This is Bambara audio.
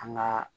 An ka